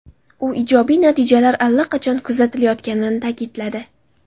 U ijobiy natijalar allaqachon kuzatilayotganini ta’kidladi.